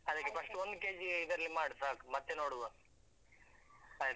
First ಒಂದ್ kg ಅಹ್ ಇದ್ರಲ್ಲಿ ಮಾಡು ಸಾಕು ಮತ್ತೆ ನೋಡುವ ಆಯ್ತಾ?